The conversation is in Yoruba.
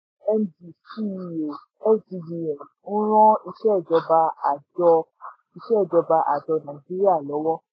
md ceo sggn n ran ìsèjọba àjọ ìsèjọba àjọ nàìjíríà lọ́wọ́.